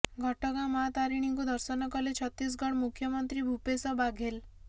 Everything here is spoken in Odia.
ଘଟଗାଁ ମା ତାରିଣୀଙ୍କୁ ଦର୍ଶନ କଲେ ଛତିଶଗଡ ମୁଖ୍ୟମନ୍ତ୍ରୀ ଭୂପେଷ ବାଘେଲ